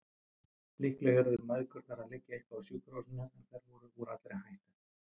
Líklega yrðu mæðgurnar að liggja eitthvað á sjúkrahúsinu, en þær væru úr allri hættu.